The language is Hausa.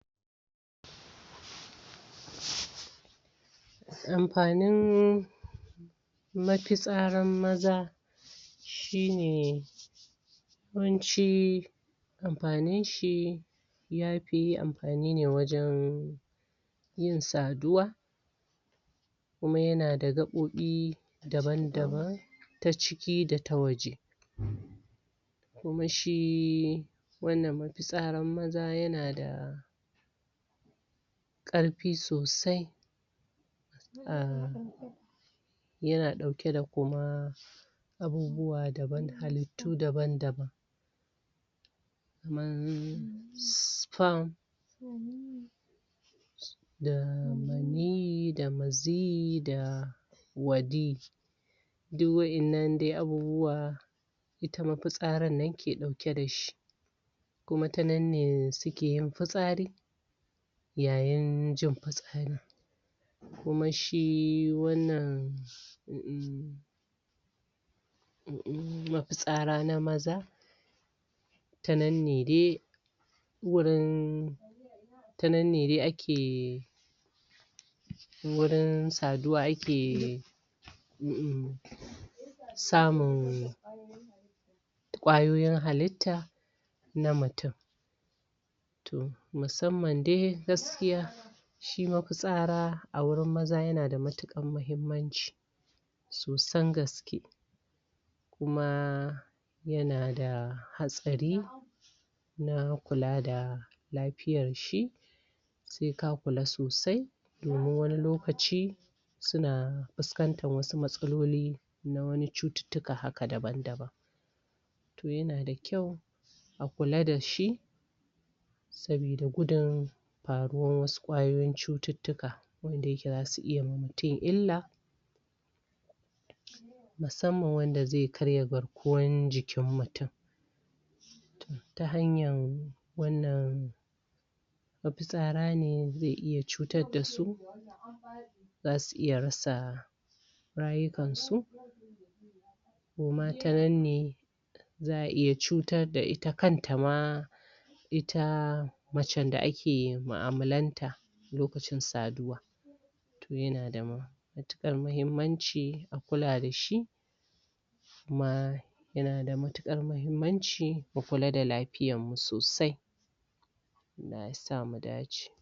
Amfanin mafitsarar maza shi ne yawanci amfaninshi ya fi amfani ne wajen yin saduwa kuma yanada gaɓoɓi dabam-daban ta ciki da ta waje. kuma shi wannan mafitsarar maza yana da ƙarfi sosai a yana ɗauke da kuma abubuwa daban, halittu dabam-daban. kamar sperm da maniyyi da maziyyi da wadi. duk waɗannan dai abubuwa ita mafitsarar nan dai ke ɗauke da shi kuma ta nan ne suke yin fitsari, ya yin jin fitsarin. kuma shi wannan um mafitsara na maza ta nan ne dai wurin tanan ne dai ake wurin saduwa ake um samun ƙwayoyin halitta na mutum to musamman dai gaskiya shi mafitsaraa wurin maza yana da matuƙar muhimmanci sosan gaske. kuma yana da hatsari na kula da lafiyarshi, sai ka kula sosai domin wani lokaci suna fuskantar wasu matsaloli na wani cututtuka haka dabam-daban to yana da kyau a kula da shi saboda gudun faruwar waɗansu ƙwayoyin cututtuka. wanda yake za su iya yi wa mutum illa. musamman wanda zai karya garkuwar jikin mutum. ta hanyar wannan mafitsara ne za su iya rasa rayukansu koma ta nan ne za a iya cutar da ita kanta mat ita macen da ake mu'amalanta lokacin lokacin saduwa. to yana da matuƙar muhimmanci a kula da shi kuma yana da matuƙar muhimmanci mukula da lafiyarmu sosai Allah ya sa mu dace.